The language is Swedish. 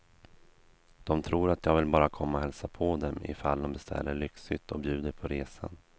De tror att jag bara vill komma och hälsa på dem ifall de beställer lyxhytt och bjuder på resan.